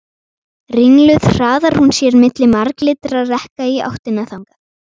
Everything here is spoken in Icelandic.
Ringluð hraðar hún sér milli marglitra rekka í áttina þangað.